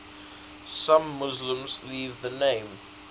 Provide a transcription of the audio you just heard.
some muslims leave the name